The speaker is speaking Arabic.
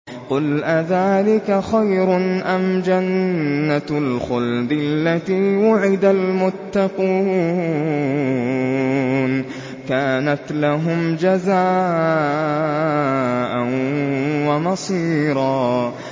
قُلْ أَذَٰلِكَ خَيْرٌ أَمْ جَنَّةُ الْخُلْدِ الَّتِي وُعِدَ الْمُتَّقُونَ ۚ كَانَتْ لَهُمْ جَزَاءً وَمَصِيرًا